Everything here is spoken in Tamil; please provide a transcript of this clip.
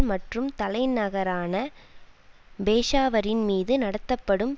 மற்றும் தலைநகரான பேஷாவரின் மீது நடத்தப்படும்